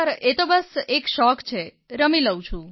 એ તો બસ એક શોખ છે રમી લઉં છું